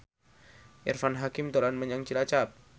Irfan Hakim dolan menyang Cilacap